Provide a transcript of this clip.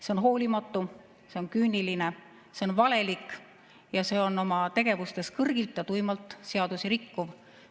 See on hoolimatu, see on küüniline, see on valelik ja see on oma tegevustes kõrgilt ja tuimalt seadusi rikkuv.